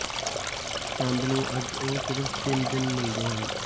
ਚੰਦ ਨੂੰ ਅੱਜ ਉਹ ਸਿਰਫ ਤਿੰਨ ਦਿਨ ਮਿਲਦੇ ਹਨ